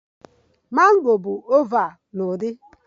Mango bụ oval na udi